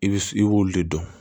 I bi i b'olu de dɔn